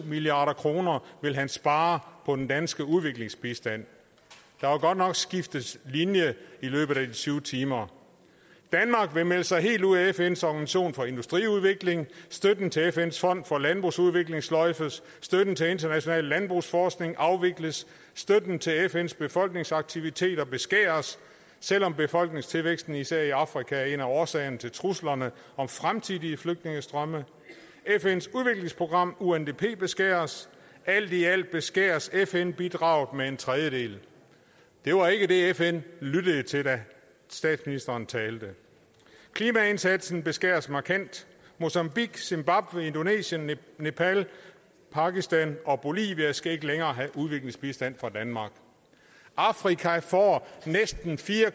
milliard kroner vil han spare på den danske udviklingsbistand der var godt nok skiftet linje i løbet af de tyve timer danmark vil melde sig helt ud af fns organisation for industriudvikling støtten til fns fond for landbrugsudvikling sløjfes støtten til international landbrugsforskning afvikles støtten til fns befolkningsaktiviteter beskæres selv om befolkningstilvæksten især i afrika er en af årsagerne til truslerne om fremtidige flygtningestrømme fns udviklingsprogram undp beskæres alt i alt beskæres fn bidraget med en tredjedel det var ikke det fn lyttede til da statsministeren talte klimaindsatsen beskæres markant mozambique zimbabwe indonesien nepal pakistan og bolivia skal ikke længere have udviklingsbistand fra danmark afrika får næsten fire